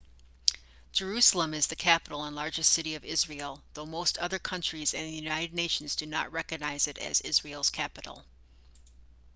jerusalem is the capital and largest city of israel though most other countries and the united nations do not recognize it as israel's capital